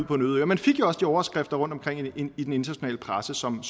på en øde ø man fik jo også de overskrifter rundtomkring i den internationale presse som